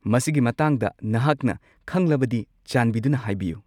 ꯃꯁꯤꯒꯤ ꯃꯇꯥꯡꯗ ꯅꯍꯥꯛꯅ ꯈꯪꯂꯕꯗꯤ ꯆꯥꯟꯕꯤꯗꯨꯅ ꯍꯥꯏꯕꯤꯌꯨ꯫